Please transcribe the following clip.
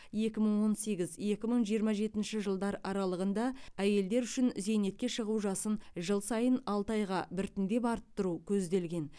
екі мың он сегіз екі мың он жетінші жылдар аралығында әйелдер үшін зейнетке шығу жасын жыл сайын алты айға біртіндеп арттыру көзделген